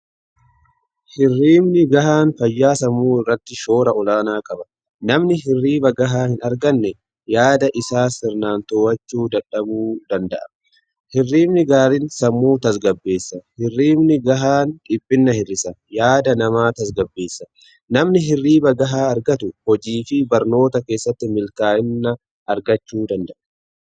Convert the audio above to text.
Hirribni gahaan fayyaa sammuu irratti shoora olaanaa qaba. Namni hirriba gahaa hin arganne yaada isaa sirnaan to'achu dadhabuu danda'a. Hirribni gaariin sammuu tasgabbeessa. Hirribni gahaan dhiphina hir'isa yaada namaa tasgabbeessa. Namni hirriba gahaa argatu hojii fi barnoota keessatti milkaa'ina argachuu danda'a.